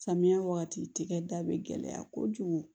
Samiya wagati tigɛ da be gɛlɛya kojugu